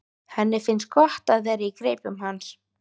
Henni finnst gott að vera í greipum hans.